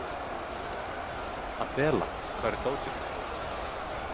Adela, hvar er dótið mitt?